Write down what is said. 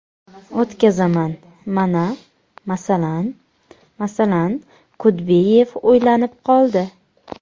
O‘tkazaman, mana, masalan, masalan… Kudbiyev o‘ylanib qoldi.